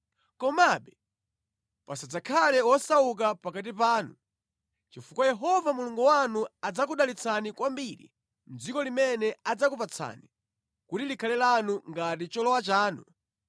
Komabe pasadzakhale wosauka pakati panu chifukwa Yehova Mulungu wanu adzakudalitsani kwambiri mʼdziko limene adzakupatsani kuti likhale lanu ngati cholowa chanu.